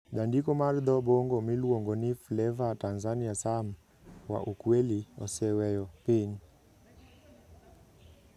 Jandiko mar dho-Bongo miluongo ni Fleva Tanzania Sam wa Ukweli oseweyo piny.